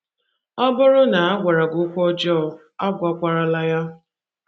Ọ bụrụ na a gwara gị okwu ọjọọ, agwagwarala ya.